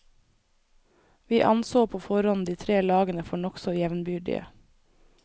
Vi anså på forhånd de tre lagene for nokså jevnbyrdige.